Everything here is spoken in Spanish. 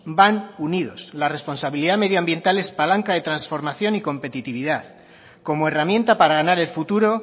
van unidos la responsabilidad medioambiental es palanca de transformación y competitividad como herramienta para ganar el futuro